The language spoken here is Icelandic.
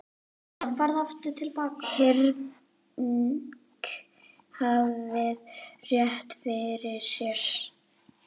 Henrik hafði rétt fyrir sér.